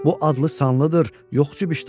Bu adlı-sanlıdır, yox cibişdanı.